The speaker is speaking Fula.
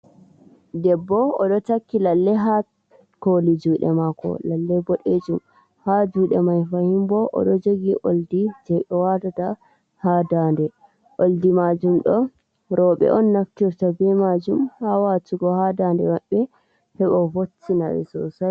Debbo oɗo takki lalle ha koli juɗe mako, lalle bodejum ha jude mai fahimbo odo jogi oldi je watata ha dande. Oldi majum ɗo robe on naftirta be majum ha watugo ha daɗe maɓɓe heɓa voctina ɓe sosai.